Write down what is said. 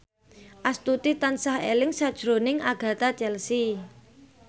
Astuti tansah eling sakjroning Agatha Chelsea